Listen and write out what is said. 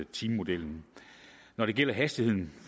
timemodellen når det gælder hastigheden